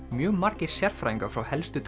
mjög margir sérfræðingar frá helstu